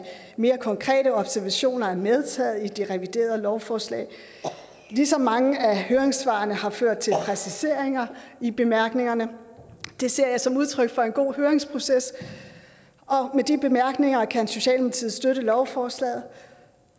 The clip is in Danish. mere konkrete observationer er medtaget i det reviderede lovforslag ligesom mange af høringssvarene har ført til præciseringer i bemærkningerne det ser jeg som udtryk for en god høringsproces og med de bemærkninger kan socialdemokratiet støtte lovforslaget